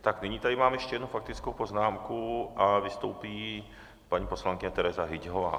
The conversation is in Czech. Tak, nyní tady mám ještě jednu faktickou poznámku a vystoupí paní poslankyně Tereza Hyťhová.